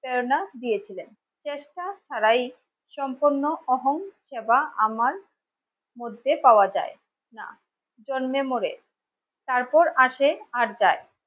প্রেরণা দিয়েছিলেন চেষ্টা তারাই সম্পূর্ণ অহং সেবা আমার মধ্যে পাওয়া যায় না জন্মে মরে তারপর আসে আবদার